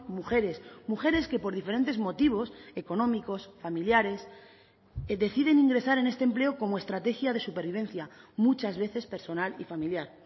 mujeres mujeres que por diferentes motivos económicos familiares deciden ingresar en este empleo como estrategia de supervivencia muchas veces personal y familiar